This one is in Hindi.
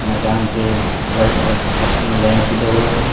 मैदान पे वाइट कलर की पट्टी में लाइन खिंचा हुआ है।